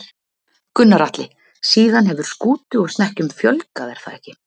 Gunnar Atli: Síðan hefur skútu og snekkjum fjölgað er það ekki?